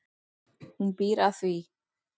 Hún býr að því.